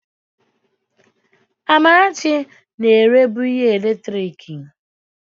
Amarachi na-erebu ihe eletiriki.